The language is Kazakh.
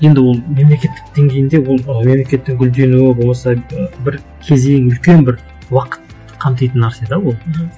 енді ол мемлекеттік деңгейінде ол ы мемлекеттің гүлденуі болмаса ы бір кезең үлкен бір уақыт қамтитың нәрсе де ол мхм